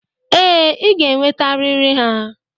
Ee, ị ga-enwetarịrị ha.